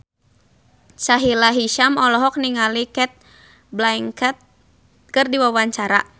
Sahila Hisyam olohok ningali Cate Blanchett keur diwawancara